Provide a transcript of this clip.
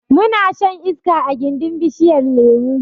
Muna shan iska a gindin bishiyar lemo